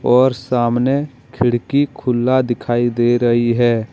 और सामने खिड़की खुल्ला दिखाई दे रही है।